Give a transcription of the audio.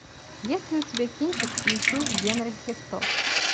есть ли у тебя кинчик иисус генри христос